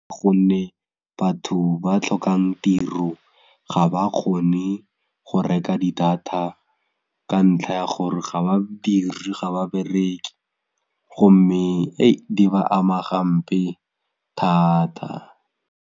Gonne batho ba tlhokang tiro ga ba kgone go reka di-data ka ntlha ya gore ga badiri ga ba bereke gomme di ba ama gampe thata.